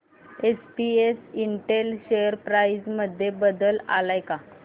SPS Intel share price मध्ये बदल आलाय का